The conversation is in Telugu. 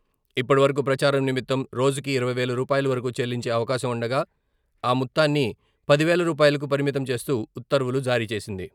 ఇప్పటివరకు ప్రచారం నిమిత్తం రోజుకు ఇరవై వేల రూపాయల వరకు చెల్లించే అవకాశం ఉండగా, ఆ మొత్తాన్ని పది వేల రూపాయలకు పరిమితం చేస్తూ ఉత్తర్వులు జారీచేసింది.